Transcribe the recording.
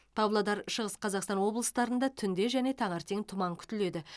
павлодар шығыс қазақстан облыстарында түнде және таңертең тұман күтіледі